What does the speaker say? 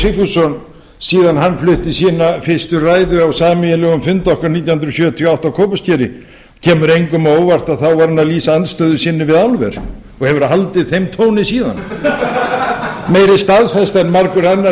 sigfússon síðan hann flutti sína fyrstu ræðu á sameiginlegum fundi okkar nítján hundruð sjötíu og átta á kópaskeri og kemur engum á óvart að þá var hann að lýsa andstöðu sinni við álver og hefur haldið þeim tóni síðan meiri staðfesta en margur